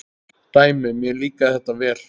Dæmi: Mér líkar þetta vel.